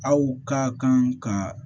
Aw ka kan ka